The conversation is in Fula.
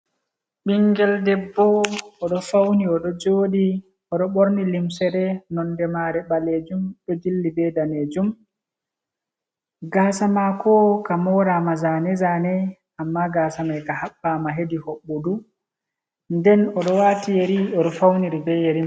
Ɓinngel debbo o ɗo fawni o ɗo jooɗi o ɗo ɓorni limsere, nonde maare baleejum ɗo jilli be daneejum gaasa maako ka mooraama, zane zane ammaa gaasa may ka haɓɓaama hedi hoɓɓudu .Nden o ɗo waati yeri o ɗo fawniri be yeri may.